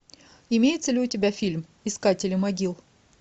имеется ли у тебя фильм искатели могил